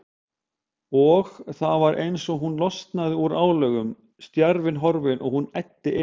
Og það var eins og hún losnaði úr álögum, stjarfinn horfinn, og hún æddi inn.